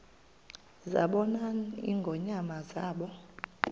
zabona ingonyama zaba